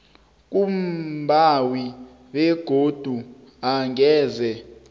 kumbawi begodu angeze